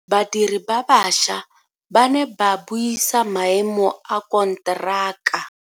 Badiri ba baša ba ne ba buisa maemo a konteraka.